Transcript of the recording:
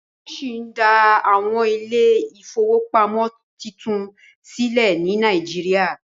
wón sí dá Àwọn Ilé ìfowópamọ́ títún sílè ni Naijiria